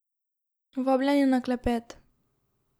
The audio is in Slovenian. Vabljeni na klepet.